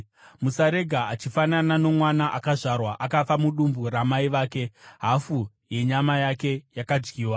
Musarega achifanana nomwana akazvarwa akafa mudumbu ramai vake hafu yenyama yake yakadyiwa.”